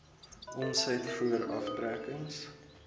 omset voor aftrekkings